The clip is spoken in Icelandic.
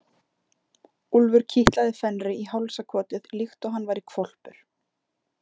Úlfur kitlaði Fenri í hálsakotið líkt og hann væri hvolpur.